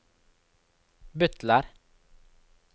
butler